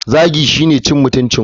Zagi shine cin mutuncin wani.